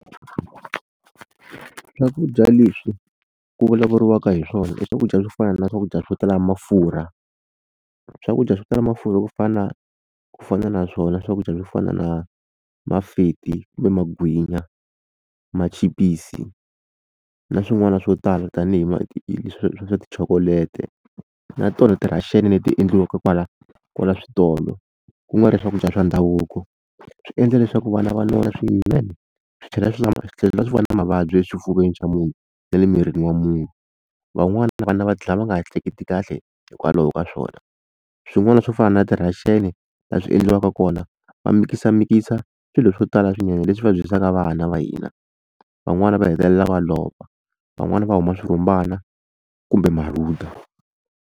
Swakudya leswi ku vulavuriwaka hi swona i swakudya swo fana na swakudya swo tala mafurha swakudya swo tala mafurha ku fana ku fana na swona swakudya swo fana na mafeti kumbe magwinya machipisi na swin'wana swo tala tanihi leswi swa tichokoleti na tona ti-russian leti endliwaka kwala kwala switolo ku nga ri swakudya swa ndhavuko swi endla leswaku vana va nona swinene swi tlhela swi tlhela swi va na mavabyi eswifuveni swa munhu na le mirini wa munhu van'wana vana va dlaya va nga ha ehleketi kahle hikwalaho ka swona swin'wana swo fana na ti-russian laha swi endliwaka kona va mikisamikisa swilo swo tala swinene leswi va dyisaka vana va hina van'wana va hetelela va lova van'wana va huma swirhumbani kumbe marhunda.